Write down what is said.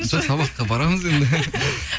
жоқ сабаққа барамыз енді